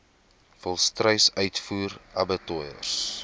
volstruis uitvoer abattoirs